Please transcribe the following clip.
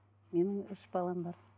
менің үш балам бар